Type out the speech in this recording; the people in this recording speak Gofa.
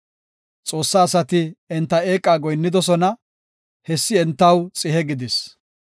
Xoossa asati enta eeqa goyinnidosona; hessi entaw xihe gidis.